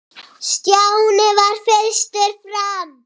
Stjáni varð fyrstur fram.